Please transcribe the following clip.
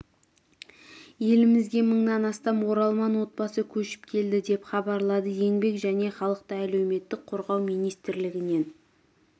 елімізге мыңнан астам оралман отбасы көшіп келді деп хабарлады еңбек және халықты әлеуметтік қорғау министрлігінен